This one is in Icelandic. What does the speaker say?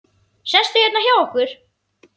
Sestu hérna hjá okkur!